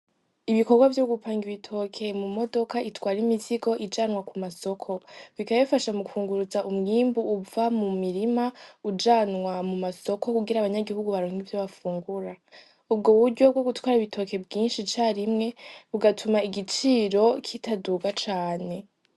Ibikorwa vyo gupanga ibitokeye mu modoka itwara imisigo ijanwa ku masoko bikabifasha mu kwunguruza umwimbu uva mu mirima ujanwa mu masoko kugira abanyagihugu baronke ivyo bafungura ubwo wuryobwo gutwara ibitoke bwinshi carimwe bugatuma igiciro kitaduga cane.